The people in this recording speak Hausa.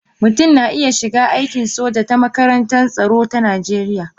Mutum na iya shiga aikin soja ta makarantar tsaro ta Najeriya